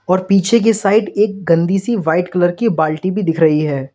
और पीछे की साइड एक गंदी सी व्हाइट कलर की बाल्टी भी दिख रही है।